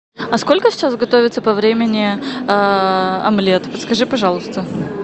а сколько сейчас готовится по времени омлет подскажи пожалуйста